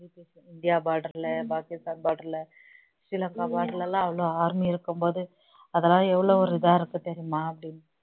India border ல Pakistan border ல சில border ல எல்லாம் அவ்வளவு army இருக்கும்போது அதெல்லாம் எவ்வளவு ஒரு இதா இருக்கும் தெரியுமா அப்படினு